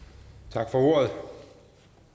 tak for ordet